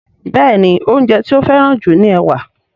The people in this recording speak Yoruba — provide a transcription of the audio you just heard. Béèni oúnjẹ ti o feran ju ní ẹwà.